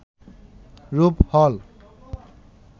রূপ হল